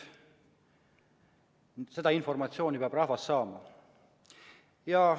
Seda informatsiooni peab rahvas saama.